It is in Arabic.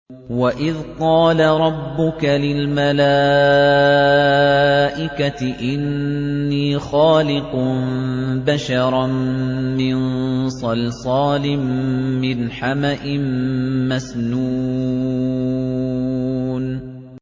وَإِذْ قَالَ رَبُّكَ لِلْمَلَائِكَةِ إِنِّي خَالِقٌ بَشَرًا مِّن صَلْصَالٍ مِّنْ حَمَإٍ مَّسْنُونٍ